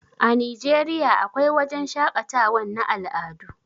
A Nigeriya a kwai wajan shaƙatawan na al'adu